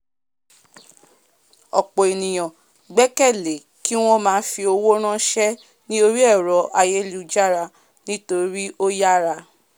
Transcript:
ọ̀pọ̀ ènìyàn gbẹ́kẹ̀lé kíwọ́n máa fi owó rànsẹ́ ní orí ẹ̀rọ̀ ayélujára nítorí ó yára